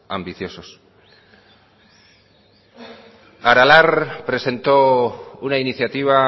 ambiciosos aralar presentó una iniciativa